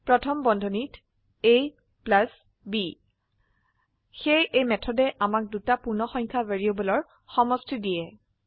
প্ৰথম বন্ধনীত ab সেয়ে এই মেথডে আমাক দুটা পূৰ্ণসংখ্যা ভ্যাৰিয়েবলৰ সমষ্টি দিয়া